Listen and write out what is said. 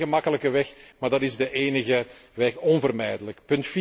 Dat is geen gemakkelijke weg, maar dat is de enige weg, onvermijdelijk.